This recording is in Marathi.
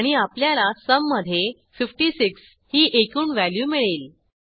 आणि आपल्याला सुम मधे 56 ही एकूण व्हॅल्यू मिळेल